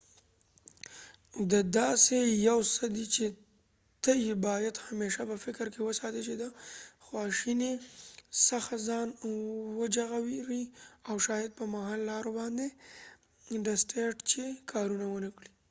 دا داسې یو څه دي چې ته یې باید همیشه په فکر کې وساتي چې د خواشينۍ څخه ځان وژغوری او شاید په محل لارو باندي ډسټیت چې کارونه وکړي